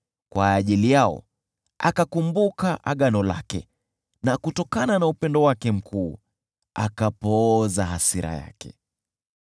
kwa ajili yao akakumbuka agano lake, na kutokana na upendo wake mkuu akapooza hasira yake.